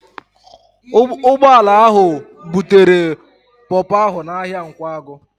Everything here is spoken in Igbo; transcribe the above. Ụgbọala ahụ butere pọpọ ahụ n'ahịa Nkwagụ